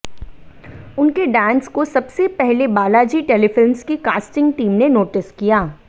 उनके डांस को सबसे पहले बालाजी टेलीफिल्म्स की कास्टिंग टीम ने नोटिस किया